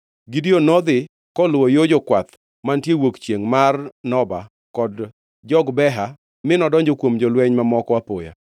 Gideon nodhi koluwo yo jokwath mantiere yo wuok chiengʼ mar Noba kod Jogbeha mi nodonjo kuom jolweny mamoko apoya.